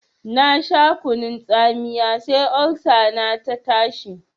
Na sha kunun tsamiya sai Olsa na ta tashi.